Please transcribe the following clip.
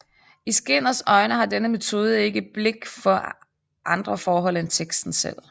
I Skinners øjne har denne metode ikke blik for andre forhold end teksten selv